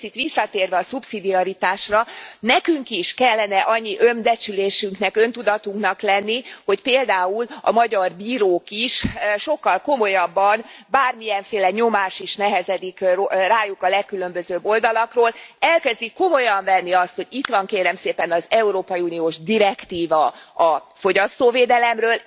És egy picit visszatérve a szubszidiaritásra nekünk is kellene annyi önbecsülésünknek, öntudatunknak lenni, hogy például a magyar bírók is sokkal komolyabban bármilyenféle nyomás is nehezedik rájuk a legkülönbözőbb oldalakról elkezdik komolyan venni azt, hogy itt van, kérem szépen, az európai uniós direktíva a fogyasztóvédelemről.